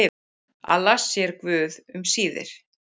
Alla sér guð um síðir.